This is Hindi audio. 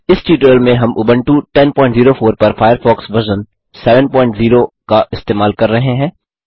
इस ट्यूटोरियल में हम उबंटू 1004 पर फ़ायरफ़ॉक्स वर्ज़न 70 का इस्तेमाल कर रहे हैं